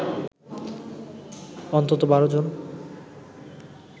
অন্তত ১২ জন